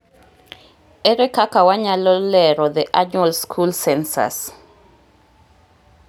Ere kaka wanyalo lero The Annual School Cencus